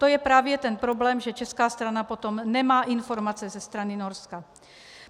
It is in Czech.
To je právě ten problém, že česká strana potom nemá informace ze strany Norska.